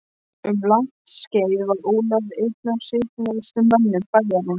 Um langt skeið var Ólafur einn af svipmestu mönnum bæjarins.